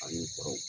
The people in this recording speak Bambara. Ani kɔrɔw